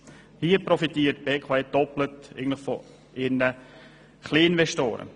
Hier profitiert die BKW gleich doppelt von ihren Kleininvestoren.